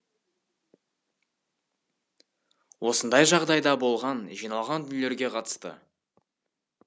осындай жағдай да болған жиналған дүниелерге қатысты